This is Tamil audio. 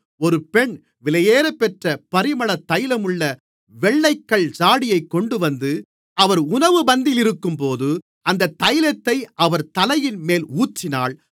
ஒரு பெண் விலையேறப்பெற்ற பரிமள தைலமுள்ள வெள்ளைக்கல் ஜாடியைக் கொண்டுவந்து அவர் உணவு பந்தியிலிருக்கும்போது அந்தத் தைலத்தை அவர் தலையின்மேல் ஊற்றினாள்